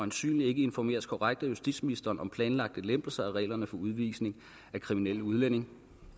ikke informeres korrekt af justitsministeren om planlagte lempelser af reglerne for udvisning af kriminelle udlændinge